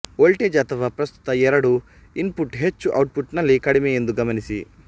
voltage ಅಥವಾ ಪ್ರಸ್ತುತ ಎರಡೂ ಇನ್ಪುಟ್ ಹೆಚ್ಚು ಔಟ್ಪುಟ್ ನಲ್ಲಿ ಕಡಿಮೆ ಎಂದು ಗಮನಿಸಿ